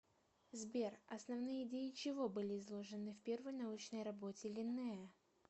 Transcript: сбер основные идеи чего были изложены в первой научной работе линнея